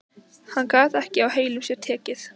Hann gat ekki á heilum sér tekið.